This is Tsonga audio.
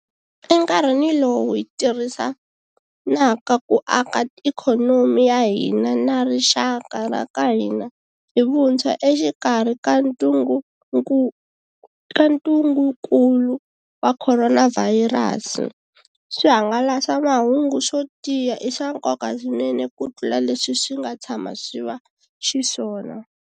Enkarhini lowu hi ttirhisanaka ku aka ikhonomi ya hina na rixaka ra ka hina hi vuntshwa exikarhi ka ntungukulu wa khoronavhayirasi, swihangalasamahungu swo tiya i swa nkoka swinene kutlula leswi swi nga tshama swi va xiswona.